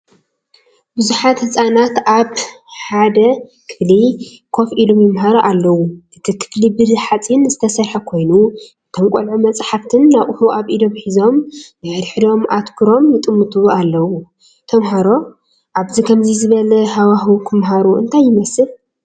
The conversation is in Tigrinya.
ብዙሓት ህጻናት ኣብ ሓደ ክፍሊ ኮፍ ኢሎም ይመሃሩ ኣለዉ። እቲ ክፍሊ ብሓጺን ዝተሰርሐ ኮይኑ እቶም ቆልዑ መጽሓፍትን ኣቕሑን ኣብ ኢዶም ሒዞም፡ ንሓድሕዶም ኣተኲሮም ይጥምቱ ኣለዉ። ተምሃሮ ኣብ ከምዚ ዝበለ ሃዋህው ክመሃሩ እንታይ ይመስል?